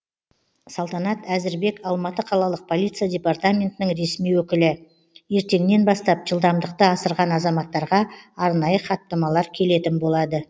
салтанат әзірбек алматы қалалық полиция департаментінің ресми өкілі ертеңнен бастап жылдамдықты асырған азаматтарға арнайы хаттамалар келетін болады